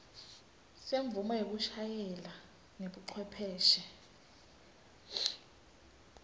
semvumo yekushayela ngebucwepheshe